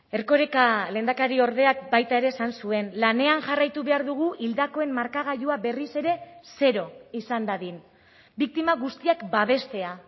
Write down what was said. erkoreka lehendakariordeak baita ere esan zuen lanean jarraitu behar dugu hildakoen markagailua berriz ere zero izan dadin biktima guztiak babestea